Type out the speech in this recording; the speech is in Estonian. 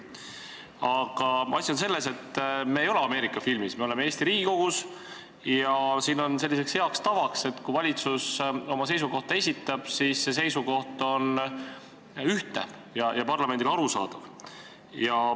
Aga asi on selles, et me ei ole Ameerika filmis, me oleme Eesti Riigikogus ja siin on selline hea tava, et kui valitsus oma seisukoha esitab, siis see seisukoht on ühtne ja parlamendile arusaadav.